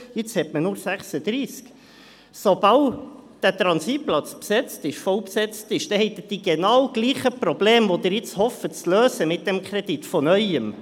Jetzt hat man bloss 36. Sobald dieser Transitplatz besetzt ist, voll besetzt ist, haben Sie – von Neuem – die genau gleichen Probleme, die Sie mit diesem Kredit zu lösen hoffen.